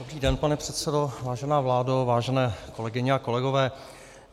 Dobrý den, pane předsedo, vážená vládo, vážené kolegyně a kolegové.